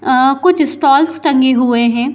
अ कुछ स्टॉल्स टंगे हुए है।